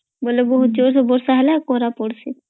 ବେଲେ ବହୁତ୍ ଯୋର୍ ବର୍ଷା ହେଲେ କୋରା ପଦୁଚୀ